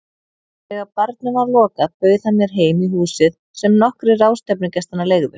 Þegar barnum var lokað bauð hann mér heim í húsið sem nokkrir ráðstefnugestanna leigðu.